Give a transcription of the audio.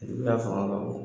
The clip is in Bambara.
fanga ka bon.